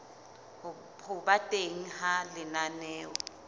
ho ba teng ha lenaneo